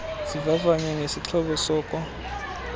zivavanywe ngesixhobo soko